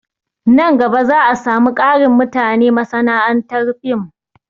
Nan gaba za a samu ƙarin mutane a masana'antar fim